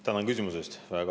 Tänan küsimuse eest!